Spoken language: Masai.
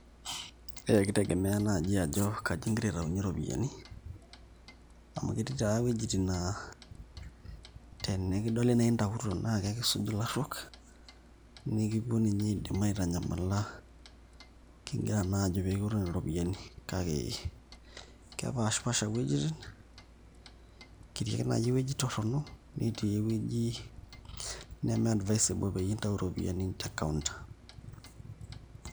ee kitegemea naaji ajo kaji igira aitayunye iropiyiani, amu ketii taa wuejitin naa tenikidoli naa intautuo naa ekisuj ilaruok, nikipuuo ninye aidim aitanyamala, naajo pee kioru nena ropiyiani kake, kepaashipaasha iweujitin ketii ake naaji ewueji torono netii ewueji neme advisable pee intau iropiyiani te account